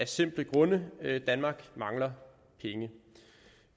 simple grund at danmark mangler penge